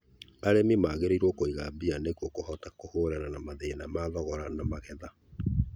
Arĩmi magĩrĩirũo kũiga mbia nĩguo mahote kũhũrana na mathina ma thogora na magetha.